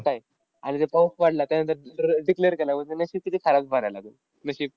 असं आहे. आणि जर पाऊस पडला. त्यानंतर दुसऱ्या declare केल्यावर उभा राहिला तो. नशीब.